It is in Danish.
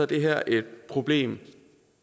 det her et problem